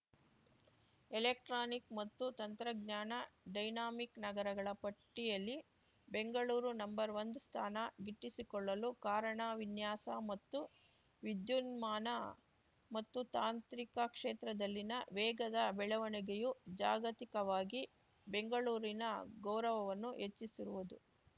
electronic ಮತ್ತು ತಂತ್ರಜ್ಞಾನ dynamic ನಗರಗಳ ಪಟ್ಟಿಯಲ್ಲಿ ಬೆಂಗಳೂರು ನಂಬರ್ಒಂದು ಸ್ಥಾನ ಗಿಟ್ಟಿಸಿಕೊಳ್ಳಲು ಕಾರಣ ವಿನ್ಯಾಸ ಮತ್ತು ವಿದ್ಯುನ್ಮಾನ ಮತ್ತು ತಾಂತ್ರಿಕ ಕ್ಷೇತ್ರದಲ್ಲಿನ ವೇಗದ ಬೆಳವಣಿಗೆಯು ಜಾಗತಿಕವಾಗಿ ಬೆಂಗಳೂರಿನ ಗೌರವವನ್ನು ಹೆಚ್ಚಿಸಿರುವುದು